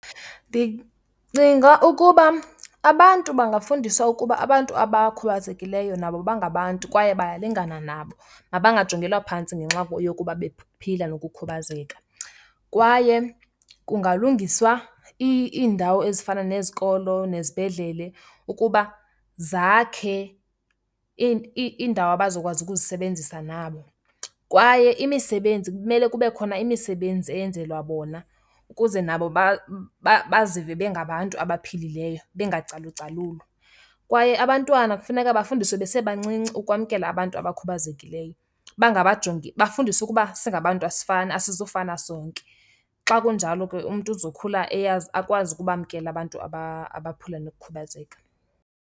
Ndicinga ukuba abantu bangafundiswa ukuba abantu abakhubazekileyo nabo bangabantu kwaye bayalingana nabo, mabangajongelwa phantsi ngenxa yokuba bephila nokukhubazeka. Kwaye kungalungiswa iindawo ezifana nezikolo nezibhedlele ukuba zakhe iindawo abazokwazi ukuzisebenzisa nabo. Kwaye imisebenzi, kumele kube khona imisebenzi eyenzelwa bona ukuze nabo bazive bengabantu abaphilileyo bengacalucalulwa. Kwaye abantwana kufuneka bafundiswe besebancinci ukwamkela abantu abakhubazekileyo. Bangabajongi, bafundiswe ukuba singabantu asifani, asizufana sonke. Xa kunjalo ke umntu uzokhula eyazi akwazi ukubamkela abantu abaphila nokukhubazeka.